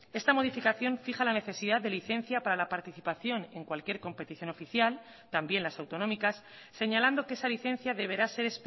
esta modificación fija la necesidad de licencia para la participación en cualquier competición oficial también las autonómicas señalando que esa licencia deberá ser